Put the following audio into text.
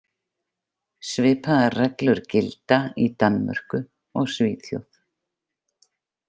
Svipaðar reglur gilda í Danmörku og Svíþjóð.